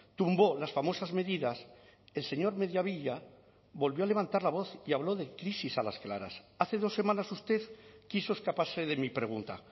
tumbó las famosas medidas el señor mediavilla volvió a levantar la voz y habló de crisis a las claras hace dos semanas usted quiso escaparse de mi pregunta